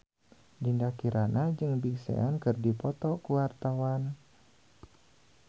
Dinda Kirana jeung Big Sean keur dipoto ku wartawan